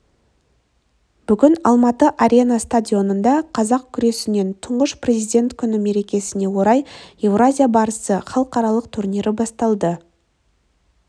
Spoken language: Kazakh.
бүгін алматы арена стадионында қазақ күресінен тұңғыш президент күні мерекесіне орай еуразия барысы халықаралық турнирі басталды